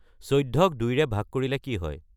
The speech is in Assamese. চৈধ্যক দুইৰে ভাগ কৰিলে কি হয়